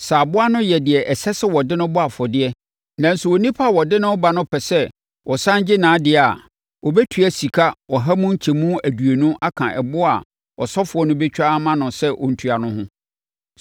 Sɛ aboa no yɛ deɛ ɛsɛ sɛ wɔde no bɔ afɔdeɛ nanso onipa a ɔde no reba no pɛ sɛ ɔsane gye nʼadeɛ a, ɔbɛtua sika ɔha mu nkyɛmu aduonu aka ɛboɔ a ɔsɔfoɔ no bɛtwa ama no sɛ ɔntua no ho.